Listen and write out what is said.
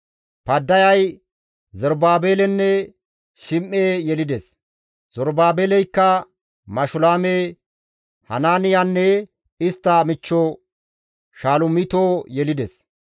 Paddayay Zerubaabelenne Shim7e yelides; Zerubaabeleykka Mashulaame, Hanaaniyanne istta michcho Shalomito yelides.